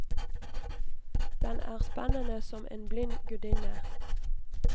Den er spennende som en blind gudinne.